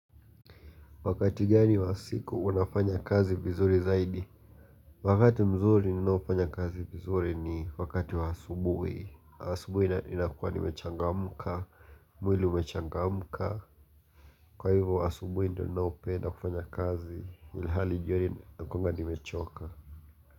Wakati gani wa siku unafanya kazi vizuri zaidi? Wakati mzuri ninaofanya kazi vizuri ni wakati wa asubuhi asubuhi inakua nimechangamka mwili umechangamka. Kwa hivyo asubuhi ndio ninaopenda kufanya kazi ilhali jioni nakuanga nimechoka.